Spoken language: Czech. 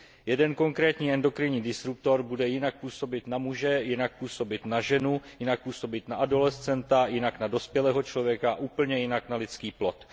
Jeden konkrétní endokrinní disruptor bude jinak působit na muže, jinak působit na ženu, jinak působit na adolescenta, jinak na dospělého člověka a úplně jinak na lidský plod.